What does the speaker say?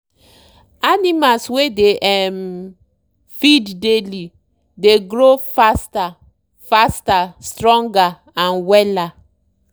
animals wey dey um feed daily dey grow faster faster stronger and wella.